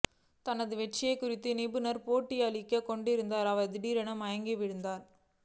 தனது வெற்றி குறித்து நிருபருக்கு பேட்டியளித்துக் கொண்டிருந்த அவர் திடீரென மயங்கி விழுந்தார்